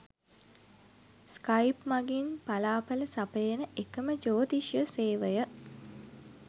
Skype මඟින් ඵලාඵල සපයන එකම ජ්‍යෝතිෂ සේවය.